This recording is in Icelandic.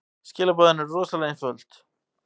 Skilaboðin eru rosalega einföld.